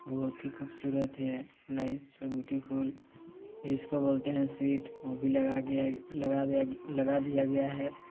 बहुत ही खूबसूरत है। नाइस ब्यूटीफुल इसको बोलते हैं सीट वो भी लगा दिया लगा दिया गया लगा दिया गया है।